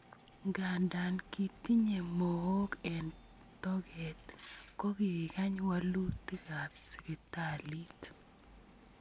Nkanta kitinye mowook eng tokeet kokikaany waluutikab sibitaliit